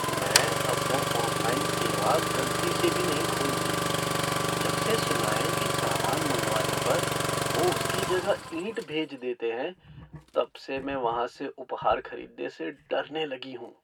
मैं अब वो ऑनलाइन सेवा गलती से भी नहीं खोलती। जबसे सुना है कि सामान मंगवाने पर वो उसकी जगह ईंट भेज देते हैं तबसे मैं वहाँ से उपहार खरीदने से डरने लगी हूँ।